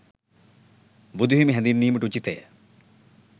බුදුහිමි හැඳින්වීමට උචිතය.